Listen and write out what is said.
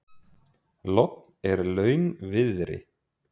Logn er launviðri.